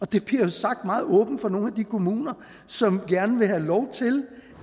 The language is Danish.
det bliver jo sagt meget åbent fra nogle af de kommuner som gerne vil have lov til